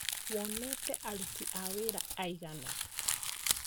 Wonete aruti a wĩra aigana?